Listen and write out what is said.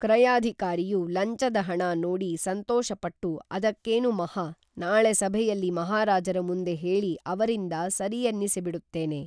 ಕ್ರಯಾಧಿಕಾರಿಯು ಲಂಚದ ಹಣ ನೋಡಿ ಸಂತೋಷಪಟ್ಟು ಅದಕ್ಕೇನು ಮಹಾ ನಾಳೆ ಸಭೆಯಲ್ಲಿ ಮಹಾರಾಜರ ಮುಂದೆ ಹೇಳಿ ಅವರಿಂದ ಸರಿಯೆನ್ನಿಸಿ ಬಿಡುತ್ತೇನೆ